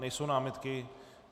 Nejsou námitky?